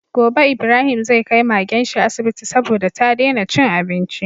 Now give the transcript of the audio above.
Gobe Ibrahim zai kai Magenshi asibiti saboda ta dena cin abinci